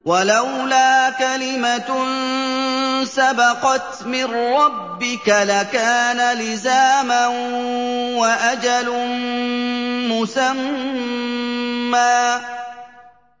وَلَوْلَا كَلِمَةٌ سَبَقَتْ مِن رَّبِّكَ لَكَانَ لِزَامًا وَأَجَلٌ مُّسَمًّى